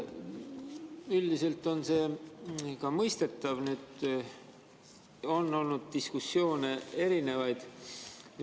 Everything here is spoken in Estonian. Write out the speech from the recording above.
Üldiselt on see ka mõistetav, neid diskussioone on olnud erinevaid.